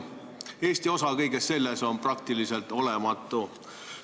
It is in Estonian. Eesti osa kõiges selles on praktiliselt olematu.